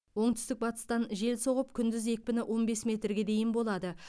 оңтүстік батыстан жел соғып күндіз екпіні он бес метрге дейін болады